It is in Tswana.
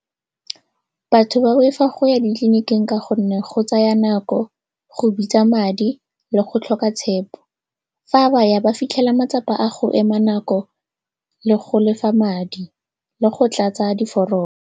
Batho ba boifa go ya ditleliniking ka gonne go tsaya nako, go bitsa madi le go tlhoka tshepo. Fa baya ba fitlhela matsapa a go ema nako le go lefa madi le go tlatsa diforomo.